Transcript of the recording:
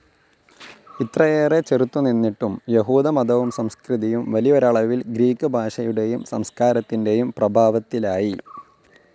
ഇത്രയേറെ ചെറുത്ത് നിന്നിട്ടും, യഹൂദ മതവും സംസ്കൃതിയും വലിയൊരളവിൽ ഗ്രീക്ക് ഭാഷയുടെയും സംസ്കാരത്തിൻ്റെയും പ്രഭാവത്തിലായി.